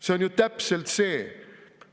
See on ju täpselt see!